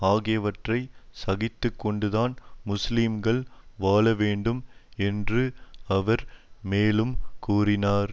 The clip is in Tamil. ஆகியவற்றை சகித்து கொண்டுதான் முஸ்லீம்கள் வாழ வேண்டும் என்று அவர் மேலும் கூறினார்